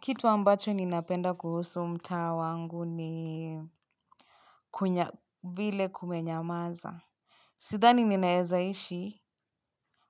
Kitu ambacho ninapenda kuhusu mtaa wangu ni kuna vile kumenyamaza. Sidhani ninaeza ishi